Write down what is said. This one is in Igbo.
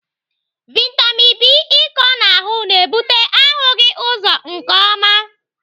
Vitamin B ịkọ n'ahụ na-ebute ahụghị ụzọ nke ọma.